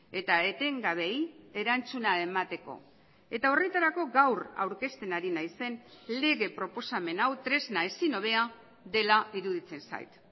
eta etengabeei erantzuna emateko eta horretarako gaur aurkezten ari naizen lege proposamen hau tresna ezin hobea dela iruditzen zait